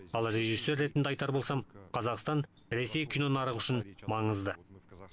ал режиссер ретінде айтар болсам қазақстан ресей кинонарығы үшін маңызды